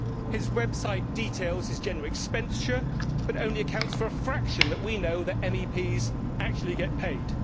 His website details show general expenditure that only accounts for a fraction of what we know that MEPs actually get paid.